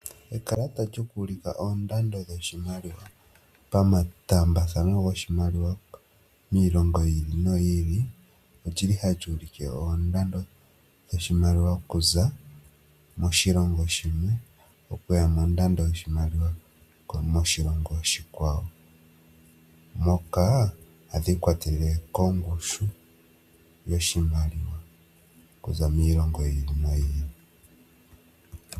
Ekalata lyoku u lika oondado dhoshimaliwa pa mataambathano goshimaliwa miilongo yi ili noyi i li olyili hali ulike oondando dhoshimaliwa okuza moshilongo shimwe okuya mondando yoshimaliwa moshilongo oshikwa wo, moka hadhi i kwatelele kongushu yoshimaliwa okuza miilongo yi i li no yi i li.